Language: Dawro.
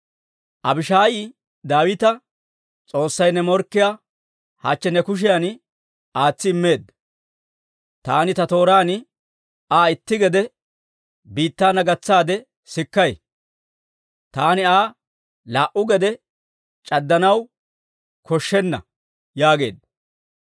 Abishaayi Daawita, «S'oossay ne morkkiyaa hachche ne kushiyan aatsi immeedda; taani ta tooraan Aa itti gede biittaana gatsaade sikkay; taani Aa laa"u geedde c'addanaw koshshenna» yaageedda.